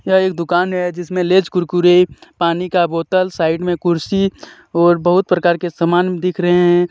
यह एक दुकान है जिसमें लेज कुरकुरे पानी का बोतल साइड में कुर्सी और बहुत प्रकार के समान दिख रहे हैं.